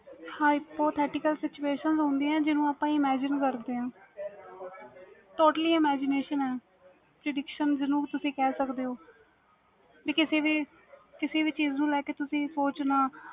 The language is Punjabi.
hypothetical situation ਹੁੰਦੀਆਂ ਜਿਨੂੰ ਆਪਾ imagination ਕਰਦੇ ਵਾ totally imagination ਆ trediction ਜਿਨੂੰ ਤੁਸੀਂ ਕਹਿ ਸਕਦੇ ਹੋ ਤੇ ਕਿਸੀ ਵੀ ਚੀਜ਼ ਨੂੰ ਲੈ ਕੇ ਸੋਚਣਾ